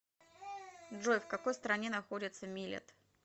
джой в какой стране находится милет